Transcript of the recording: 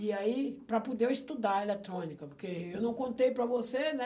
E aí, para poder eu estudar a eletrônica, porque eu não contei para você, né?